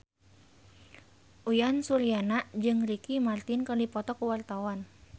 Uyan Suryana jeung Ricky Martin keur dipoto ku wartawan